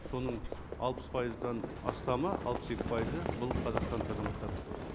соның алпыс пайыздан астамы алпыс екі пайызы бұл қазақстандық азаматтар